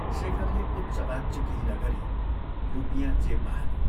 शेखरले उच्च वाच्य केही नगरी रुपियाँ जेबमा हाल्यो।